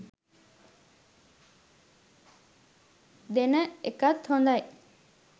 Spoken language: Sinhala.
දෙන එකත් හොඳයි.